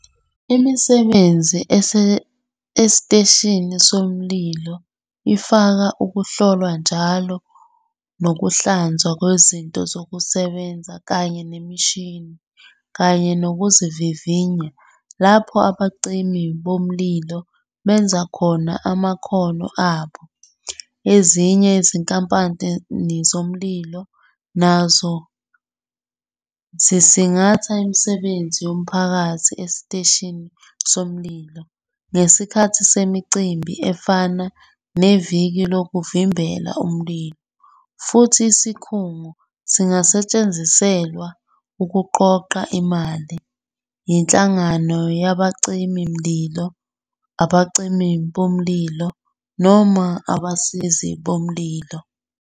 Imisebenzi esiteshini somlilo ifaka ukuhlolwa njalo nokuhlanzwa kwezinto zokusebenza kanye nemishini, kanye nokuzivivinya lapho abacimi bomlilo benza khona amakhono abo. Ezinye izinkampani zomlilo nazo zisingatha imisebenzi yomphakathi esiteshini somlilo ngesikhathi semicimbi efana "neviki lokuvimbela umlilo", futhi isikhungo singasetshenziselwa ukuqoqa imali "yinhlangano yabacimi mlilo", " abacimi bomlilo ", noma "abasizi bomlilo".